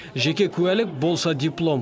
жеке куәлік болса диплом